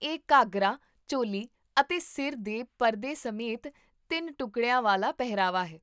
ਇਹ ਘੱਗਰਾ, ਚੋਲੀ ਅਤੇ ਸਿਰ ਦੇ ਪਰਦੇ ਸਮੇਤ ਤਿੰਨ ਟੁਕੜਿਆਂ ਵਾਲਾ ਪਹਿਰਾਵਾ ਹੈ